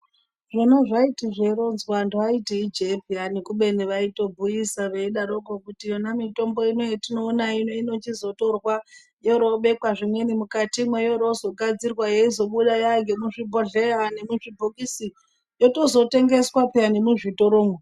Zvona zvaiti zveironzwa antu aiti ijee peyani kubeni vaitobhuyise veidaroko kuti yona mitombo ino yatinoona ino inochizotorwa yoroobekwa zvimweni mukatimwo yoroozogadzirwa yeizobuda yangemuzvibhohleya nemuzvibhokisi yotozotengeswa peyani nemuzvitoromwo.